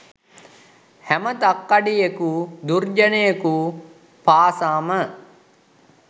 හැම තක්කඩියෙකු දුර්ජනයකු පාසාම